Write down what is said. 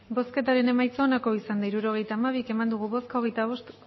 hirurogeita hamabi eman dugu bozka